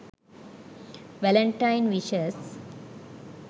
valentine wishes